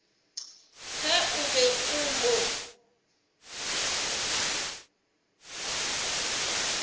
ge o be o mo